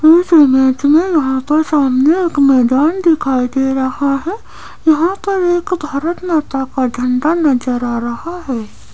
इस इमेज में यहाँ पर सामने एक मैदान दिखाई दे रहा है यहाँ पर एक भारतमाता का झंडा नजर आ रहा है।